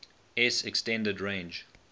s extended range